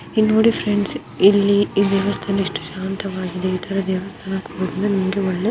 ಇಲ್ಲಿ ನೋಡಿ ಫ್ರೆಂಡ್ಸ್ ಇಲ್ಲಿ ಈ ದೇವಸ್ಥಾನ ಎಷ್ಟು ಶಾಂತವಾಗಿದೆ ಇತರ ದೇವಸ್ಥಾನಕ್ಕೆ ಹೋದ್ರೆ ನಿಮ್ಗೆ ಒಳ್ಳೆ --